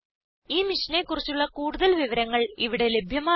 ഈ മിഷനെ കുറിച്ചുള്ള കൂടുതൽ വിവരങ്ങൾ ഇവിടെ ലഭ്യമാണ്